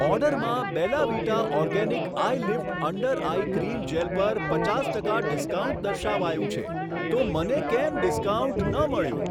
ઓર્ડરમાં Bella Vita organic eyelift under eye cream gel પર પચાસ ટકા ડિસ્કાઉન્ટ દર્શાવાયું છે તો મને કેમ ડિસ્કાઉન્ટ ન મળ્યું?